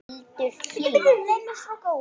Hildur Hlín.